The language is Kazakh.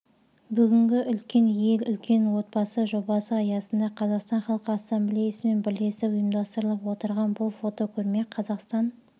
бүгінгі үлкен ел үлкен отбасы жобасы аясында қазақстан халқы ассамблеясымен бірлесіп ұйымдастырылып отырған бұл фотокөрме қазақстан